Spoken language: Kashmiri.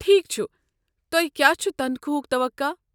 ٹھیک چھُ، تۄہہ کیٚا چھُ تنخواہُک توقع؟